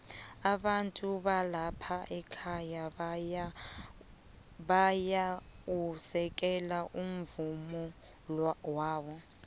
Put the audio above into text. abantu balapha ekhaya bayau u sekelo umvumowala